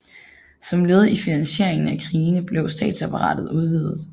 Som led i finansieringen af krigene blev statsapparatet udvidet